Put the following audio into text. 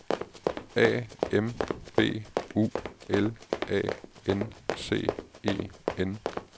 A M B U L A N C E N